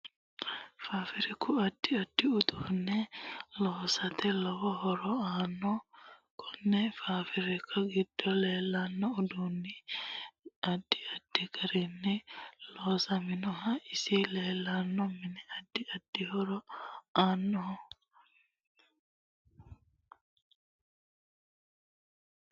Faafiriku addi addi uduune loosate lowo horo aanno konni faafiriki giddo leelanno uduuni addi addi garinni loosaminoho isi leelanno mini addi addi horo aannoho